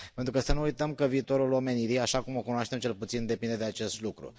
Pentru că, să nu uităm că viitorul omenirii, așa cum o cunoaștem cel puțin, depinde de acest lucru.